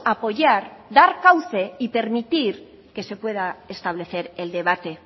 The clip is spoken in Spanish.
apoyar dar cauce y permitir que se pueda establecer el debate